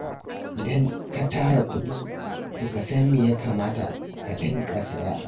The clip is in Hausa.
Idan ka tara kuɗi, to ka san me ya kamata ka dinga saya.